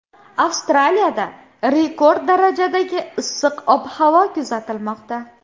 Avstraliyada rekord darajadagi issiq ob-havo kuzatilmoqda.